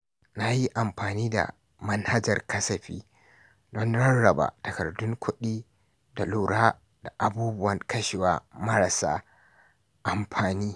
Na yi amfani da manhajar kasafi domin rarraba takardun kuɗi da lura da abubuwan kashewa marasa amfani.